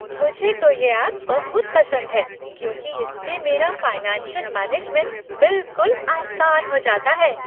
मुझे तो इस ऐप बहुत पसंद है, क्योंकि इससे मेरा फाइनेंशियल मैनेजमेंट बिलकुल आसान हो जाता है।